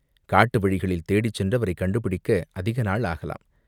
காட்டு வழிகளில் தேடிச்சென்று அவரைக் கண்டுபிடிக்க அதிக நாள் ஆகலாம்.